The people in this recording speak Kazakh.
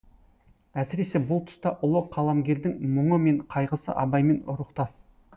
әсіресе бұл тұста ұлы қаламгердің мұңы мен қайғысы абаймен рухтас